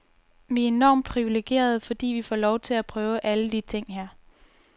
Vi er enormt privilegerede, fordi vi får lov at prøve alle de ting her.